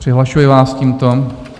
Přihlašuji vás tímto.